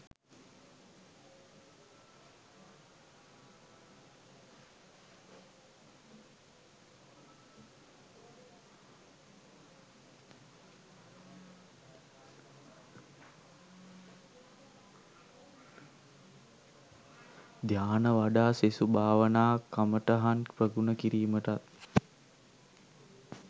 ධ්‍යාන වඩා සෙසු භාවනා කමටහන් ප්‍රගුණ කිරීමටත්